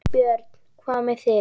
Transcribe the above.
Björn: Hvað með þig?